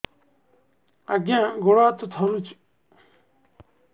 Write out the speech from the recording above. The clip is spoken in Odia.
ଆଜ୍ଞା ଗୋଡ଼ ହାତ ଥରୁଛି